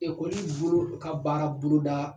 bolo u ka baara boloda.